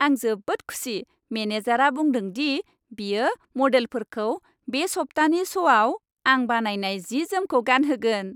आं जोबोद खुसि मेनेजारआ बुंदों दि बियो मडेलफोरखौ बे सप्तानि श'आव आं बानायनाय जि जोमखौ गानगोहोन।